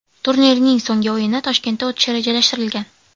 Turning so‘nggi o‘yini Toshkentda o‘tishi rejalashtirilgan.